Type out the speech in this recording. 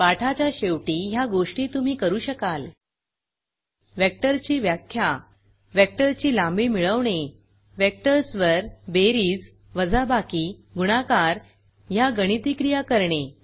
पाठाच्या शेवटी ह्या गोष्टी तुम्ही करू शकाल वेक्टरची व्याख्या वेक्टरची लांबी मिळवणे वेक्टर्सवर बेरीज वजाबाकी गुणाकार ह्या गणिती क्रिया करणे